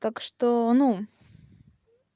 так что ну